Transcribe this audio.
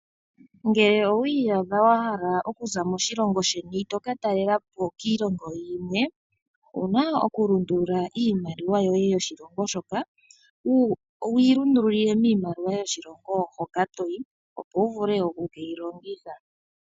Ngele owi iyadha wahala okuza moshilongo sheni toka talela po kiilongo yimwe ouna oku lundulula iimaliwa yoye yoshilongo shoka, wuyi lundululile miimaliwa yoshilongo hoka toyi opo wuvule oku keyi longitha.